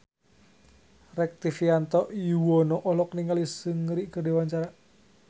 Rektivianto Yoewono olohok ningali Seungri keur diwawancara